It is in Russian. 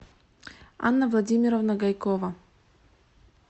анна владимировна гайкова